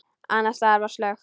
Annars staðar var slökkt.